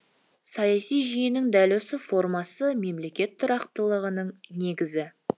саяси жүйенің дәл осы формуласы мемлекет тұрақтылығының негізі